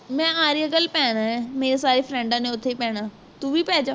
ਮੈਂ area girl ਪੈਣਾ ਹੈ ਮੇਰੀ ਸਾਰੀ friend ਡਾਂ ਨੇ ਉਥੇ ਹੀ ਪੈਣਾ ਹੈ ਤੂੰ ਵੀ ਪੈਜਾ